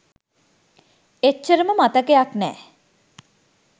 එච්චරම මතකයක් නෑ